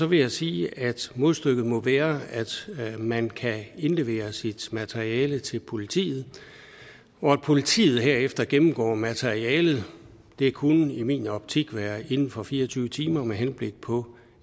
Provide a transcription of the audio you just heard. vil jeg sige at modstykket må være at man kan indlevere sit materiale til politiet og at politiet herefter gennemgår materialet det kunne i min optik være inden for fire og tyve timer med henblik på